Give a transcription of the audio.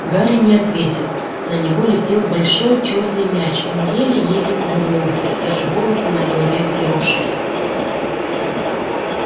гарри не ответил на него летел большой чёрный мяч он еле-еле увернулся даже волосы на голове взъерошились